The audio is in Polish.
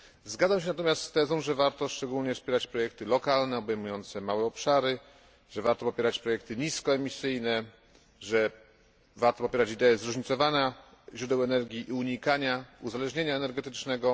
Zgadzam się natomiast z tezą, że warto szczególnie wspierać projekty lokalne, obejmujące małe obszary, że warto popierać projekty niskoemisyjne, że warto popierać idee zróżnicowanych źródeł energii i unikania uzależnienia energetycznego.